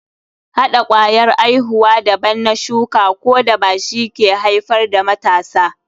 Hɗa kwayar aihuwa daban na shuka ko daba shi ke haifar da matasa.